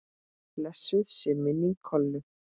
Blessuð sé minning Kollu.